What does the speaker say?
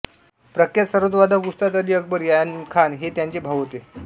प्रख्यात सरोद वादक उस्ताद अली अकबर खान हे त्यांचे भाऊ होते